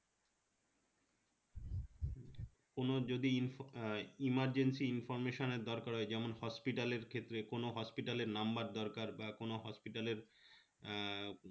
কোনো যদি info emergency information এর দরকার হয় যেমন hospital এর ক্ষেত্রে কোনো hospital এর number দরকার বা কোনো hospital এর